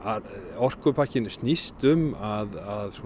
orkupakkinn snýst um að